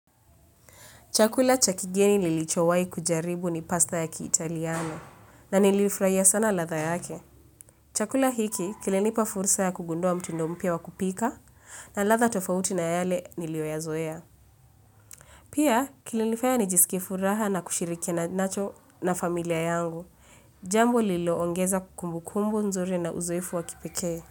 Chakula cha kigeni nilichowai kujaribu ni pasta ya kiitaliano na niliifurahia sana ladha yake. Chakula hiki kilinipa fursa ya kugundua mtindo mpya wa kupika na ladha tofauti na yale niliyoyazoea. Pia kilinifaya nijisike furaha na kushirikiana nacho na familia yangu. Jambo liloongeza kumbu kumbu nzuri na uzoefu wa kipekee.